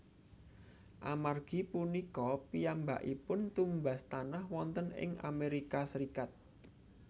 Amargi punika piyambakipun tumbas tanah wonten ing Amerika Serikat